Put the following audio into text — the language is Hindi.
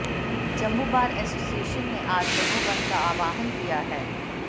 जम्मू बार एसोसिएशन ने आज जम्मू बंद का आह्वान किया है